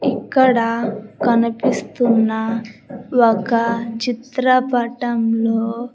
ఇక్కడ కనిపిస్తున్న ఒక చిత్రపటంలో.